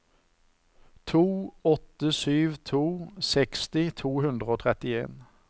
to åtte sju to seksti to hundre og trettien